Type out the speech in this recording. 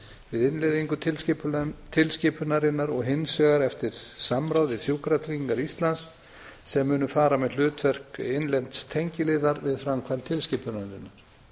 við innleiðingu tilskipunarinnar og hins vegar eftir samráð við sjúkratryggingar íslands sem munu fara með hlutverk innlends tengiliðar við framkvæmd tilskipunarinnar